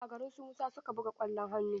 A garin su Musa su ka buga ƙwallon hannu.